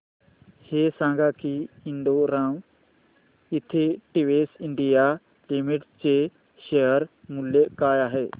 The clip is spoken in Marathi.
हे सांगा की Indo Rama synthetics India limited चे शेअर मूल्य काय आहे